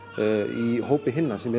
í hópi hinna sem